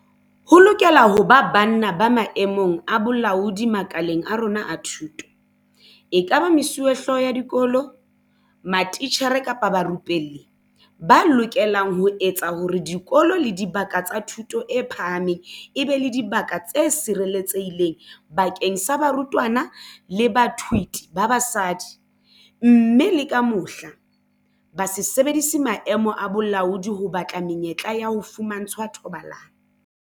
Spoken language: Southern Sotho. Ho lokela ho ba banna ba maemong a bolaodi makaleng a rona a thuto, ekaba mesuwehlooho ya dikolo, matitjhere kapa barupelli, ba lokelang ho etsa hore dikolo le dibaka tsa thuto e phahameng e be dibaka tse sireletsehileng bakeng sa barutwana le bathuiti ba basadi, mme le ka mohla, ba se sebedise maemo a bolaodi ho batla menyetla ya ho fumantshwa thobalano.